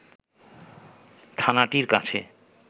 থানাটির কাছে